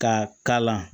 Ka kala